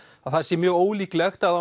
það sé mjög ólíklegt að